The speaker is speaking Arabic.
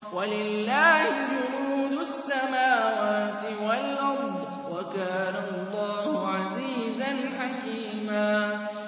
وَلِلَّهِ جُنُودُ السَّمَاوَاتِ وَالْأَرْضِ ۚ وَكَانَ اللَّهُ عَزِيزًا حَكِيمًا